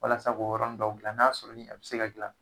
Walasa k'o yɔrɔni dɔw dilan n'a y'a sɔrɔ ni a bɛ se ka dilan